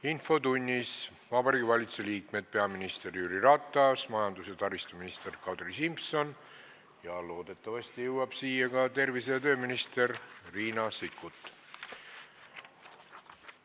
Infotunnis on Vabariigi Valitsuse liikmed: peaminister Jüri Ratas, majandus- ja taristuminister Kadri Simson ja loodetavasti jõuab siia ka tervise- ja tööminister Riina Sikkut.